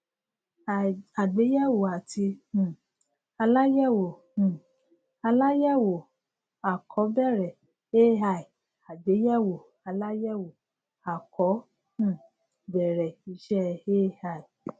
àgbéyèwò àti um aláyèwò um aláyèwò à kọ bẹrẹ ai àgbéyèwò aláyẹwò à kọ um bẹrẹ iṣẹ ai